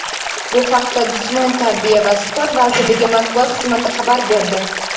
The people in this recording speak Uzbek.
Bu haqda Jismoniy tarbiya va sport vazirligi Matbuot xizmati xabar berdi.